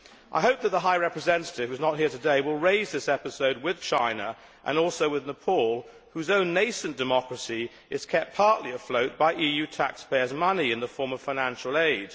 I hope that the High Representative who is not here today will raise this episode with China and also with Nepal, whose own nascent democracy is kept afloat partly by EU taxpayers' money in the form of financial aid.